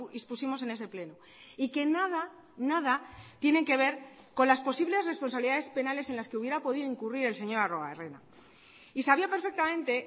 expusimos en ese pleno y que nada nada tienen que ver con las posibles responsabilidades penales en las que hubiera podido incurrir el señor arruebarrena y sabía perfectamente